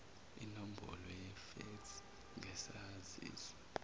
inombolo yefeksi ngesaziso